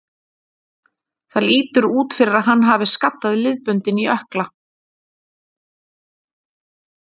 Það lítur út fyrir að hann hafi skaddað liðbönd í ökkla.